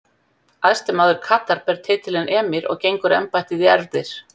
Æðsti maður Katar ber titilinn emír og gengur embættið í erfðir.